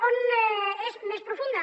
on és més profunda